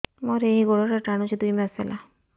ମୋର ଏଇ ଗୋଡ଼ଟା ଟାଣୁଛି ଦୁଇ ମାସ ହେଲା